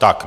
Tak.